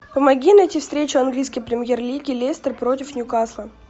помоги найти встречу английской премьер лиги лестер против ньюкасла